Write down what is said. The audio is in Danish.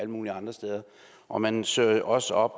mulige andre steder og man søger også op